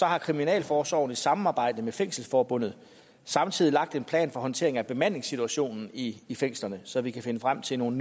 har kriminalforsorgen i samarbejde med fængselsforbundet samtidig lagt en plan for håndteringen af bemandingssituationen i i fængslerne så vi kan finde frem til nogle